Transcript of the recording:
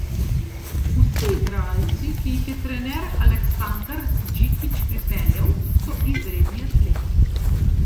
Vsi igralci, ki jih je trener Aleksandar Džikić pripeljal, so izredni atleti.